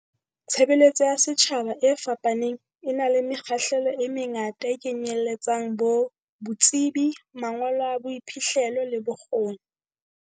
Tshebeletso ya setjhaba e fapane, e na le mekgahlelo e mengata e kenyeletsang bo tsebi, mangolo a boiphihlelo le bokgoni.